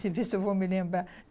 Você vê se eu vou me lembrar.